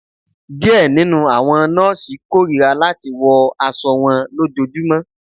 Diẹ ninu awọn nọọsi korira lati wọ aṣọ wọn lojoojumọ